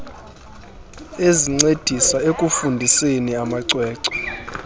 ezincedisa ekufundiseni amacwecwe